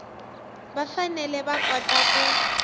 va fanele va kota ku